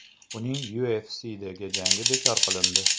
Uning UFC’dagi jangi bekor qilindi.